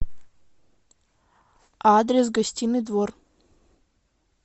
адрес гостиный двор